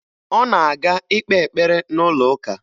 Ọ na-aga ikpe ekpere n'ụlọụka